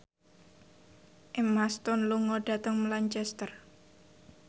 Emma Stone lunga dhateng Lancaster